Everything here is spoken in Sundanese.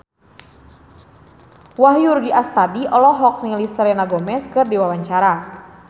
Wahyu Rudi Astadi olohok ningali Selena Gomez keur diwawancara